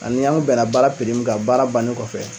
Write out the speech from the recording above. Ani an kun bɛnna baara kan baara bannen kɔfɛ